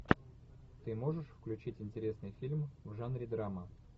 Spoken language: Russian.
ты можешь включить интересный фильм в жанре драма